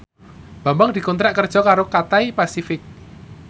Bambang dikontrak kerja karo Cathay Pacific